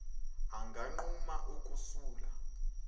anganquma uku sula